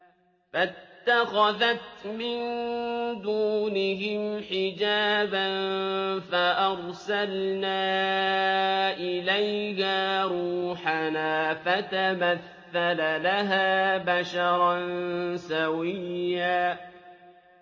فَاتَّخَذَتْ مِن دُونِهِمْ حِجَابًا فَأَرْسَلْنَا إِلَيْهَا رُوحَنَا فَتَمَثَّلَ لَهَا بَشَرًا سَوِيًّا